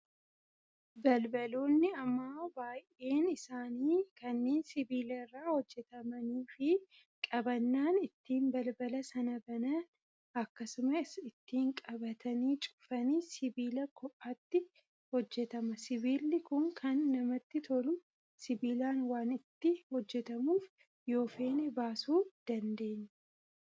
Balbaloonni ammaa baay'een isaanii kanneen sibiila irraa hojjatamanii fi qabannaan ittiin balbala sana banana akkasumas ittiin qabatanii cufanis sibiila kophaatti hojjatama. Sibiilli Kun kana namatti tolu sibiilaan waan itti hojjatamuuf yoo feene baasuu dandeenya.